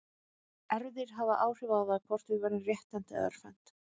Erfðir hafa áhrif á það hvort við verðum rétthent eða örvhent.